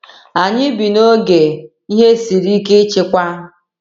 Anyị bi n’oge “ihe siri ike ịchịkwa.”